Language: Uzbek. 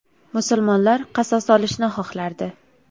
Musulmonlar qasos olishni xohlardi.